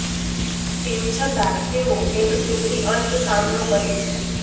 તેમ છતાં તેઓ એક સુખી અંત સામનો કરે છે